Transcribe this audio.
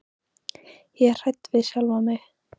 Ég var hrædd við sjálfa mig.